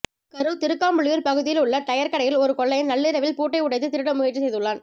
கரூர் திருக்காம்புலியூர் பகுதியில் உள்ள டயர் கடையில் ஒரு கொள்ளையன் நள்ளிரவில் பூட்டை உடைத்து திருட முயற்சி செய்துள்ளான்